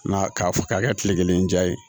Na k'a fɔ k'a kɛ kile kelen diya ye